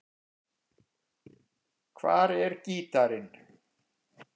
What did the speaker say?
Hvar er gítarinn?